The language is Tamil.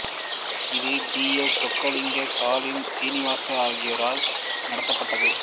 இது டி எஸ் சொக்கலிங்கம் ஸ்டாலின் சீனிவாசன் ஆகியோரால் நடத்தப்பட்டது